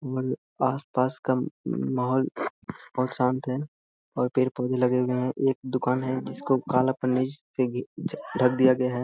आस पास का माहौल बहुत शांत है और पेड़-पोधे लगे हुए हैं | एक दुकान है जिसको काला पन्नी से ] ढक दिया गया है ।